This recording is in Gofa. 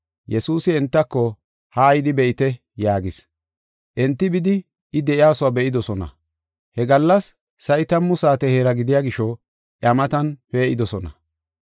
Yesuusi entako, “Haa yidi be7ite” yaagis. Enti bidi I de7iyasuwa be7idosona. He gallas sa7i tammu saate heera gidiya gisho iya matan pee7idosona.